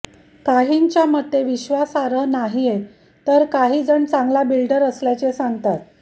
काहींच्या मते विश्वासार्ह नाहीये तर काही जण चांगला बिल्डर असल्याचे सांगतात